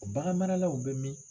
U bagan maralaw bɛ min?